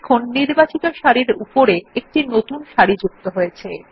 দেখুন নির্বাচিত সারির উপরে একটি নতুন সারি যুক্ত হয়েছে